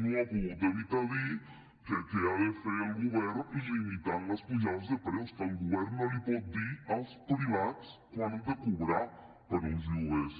no ha pogut evitar dir que què ha de fer el govern limitant les pujades de preus que el govern no pot dir als privats quant han de cobrar per uns lloguers